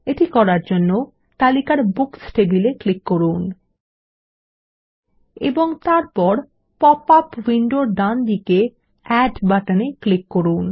এটি করার জন্য তালিকার বুকস টেবিলে ক্লিক করুন এবং তারপর পপআপ উইন্ডোর ডানদিকে এড বাটনে ক্লিক করুন